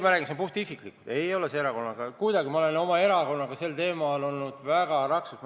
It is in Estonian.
Ma räägin puhtisiklikult, see ei ole kuidagi erakonnaga seotud, ma olen oma erakonnaga sel teemal vägagi raksus olnud.